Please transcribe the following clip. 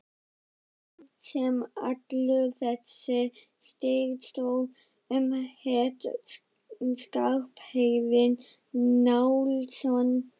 Maðurinn sem allur þessi styr stóð um hét Skarphéðinn Njálsson.